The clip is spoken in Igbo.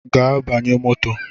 Gaa banye moto!